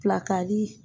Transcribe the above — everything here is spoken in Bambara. Pilakali